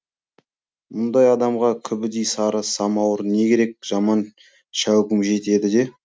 мұндай адамға күбідей сары самауыр не керек жаман шәугім жетеді де